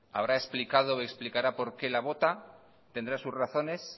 habrá explicado o explicará por qué la vota tendrá sus razones